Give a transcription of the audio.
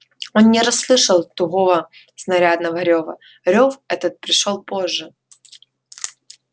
он не расслышал тугого снарядного рёва рёв этот пришёл позже